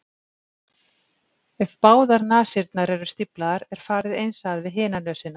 ef báðar nasirnar eru stíflaðar er farið eins að við hina nösina